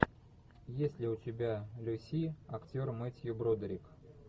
есть ли у тебя люси актер мэтью бродерик